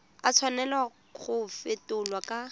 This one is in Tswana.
a tshwanela go fetolwa kwa